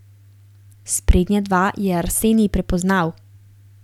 Sprednja dva je Arsenij prepoznal.